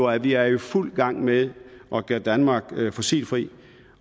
at vi er i fuld gang med at gøre danmark fossilfrit